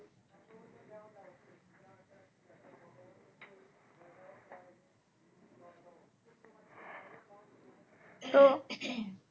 তো